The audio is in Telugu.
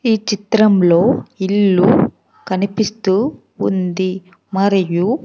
ఈ చిత్రంలో ఇల్లు కనిపిస్తూ ఉంది మరియు.